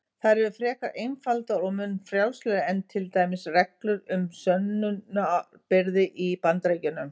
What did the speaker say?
Þær eru frekar einfaldar og mun frjálslegri en til dæmis reglur um sönnunarbyrði í Bandaríkjunum.